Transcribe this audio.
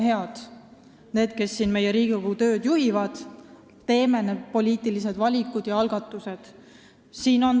Teie, kes te siin meie Riigikogu tööd juhite, olge head, teeme need poliitilised valikud ja algatused ära!